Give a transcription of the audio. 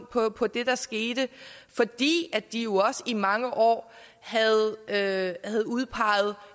på på det der skete fordi de jo også i mange år havde udpeget